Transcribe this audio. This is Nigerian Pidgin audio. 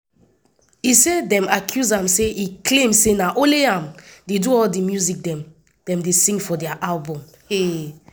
e say dem accuse am say e claim say na only am dey do all di music dem dey sing for dia albums.